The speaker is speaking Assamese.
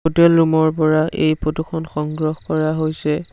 হোটেল ৰুম ৰ পৰা এই ফটোখন সংগ্ৰহ কৰা হৈছে।